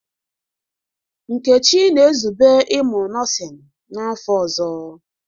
Nkechi na-ezube ịmụ nọọsịn n'afọ ọzọ.